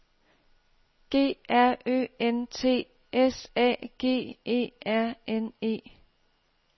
G R Ø N T S A G E R N E